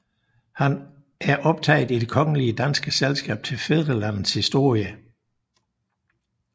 Han er optaget i Det Kongelige Danske Selskab til Fædrelandets Historie